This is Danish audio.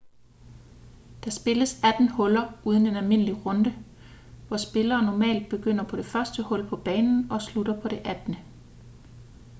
der spilles atten huller under en almindelig runde hvor spillere normalt begynder på det første hul på banen og slutter på det attende